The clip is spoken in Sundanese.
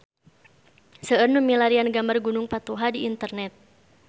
Seueur nu milarian gambar Gunung Patuha di internet